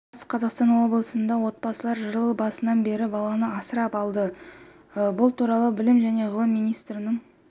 батыс қазақтан облысында отбасылар жыл басынан бері баланы асырап алды бұл туралы білім және ғылым министрінің